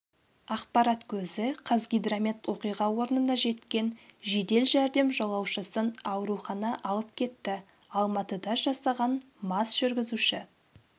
ақпарат көзі қазгидромет оқиға орнына жеткен жедел жәрдем жолаушысын аурухана алып кетті алматыда жасаған мас жүргізуші